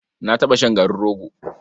Na taɓa shan garin rogo.